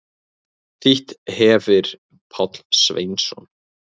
Þýtt hefir Páll Sveinsson.